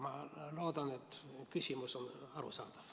Ma loodan, et küsimus oli arusaadav.